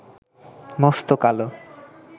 মস্ত কালো